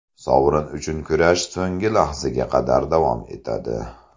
Sovrin uchun kurash so‘nggi lahzaga qadar davom etadi.